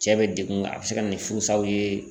Cɛ be dekun nga a ne se ka na ni furusaw ye